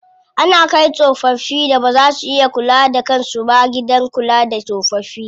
Ana kai tsofaffin da baza su iya kula da kan su ba gidan kula da tsofaffi.